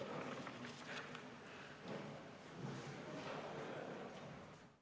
Istungi lõpp kell 12.02.